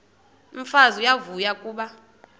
umfazi uyavuya kuba